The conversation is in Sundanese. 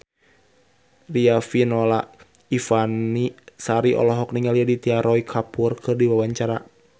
Riafinola Ifani Sari olohok ningali Aditya Roy Kapoor keur diwawancara